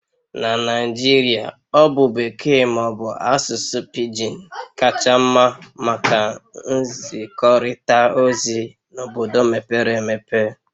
Na Naijiria Ọ bụ Bekee ma ọ bụ asụsụ pigin kacha mma maka nzikọrịta ozi na obodo mepere emepe